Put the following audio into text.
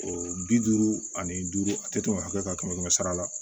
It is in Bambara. O bi duuru ani duuru a tɛ tɛmɛ hakɛ kan kɛmɛ kɛmɛ sara la